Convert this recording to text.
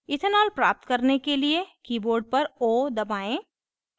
ethanol प्राप्त करने के लिए keyboard पर o दबाएं